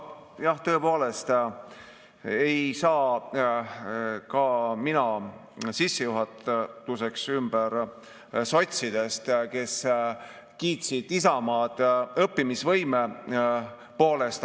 Nojah, tõepoolest, ei saa ka mina sissejuhatuseks ümber sotsidest, kes kiitsid Isamaad õppimisvõime pärast.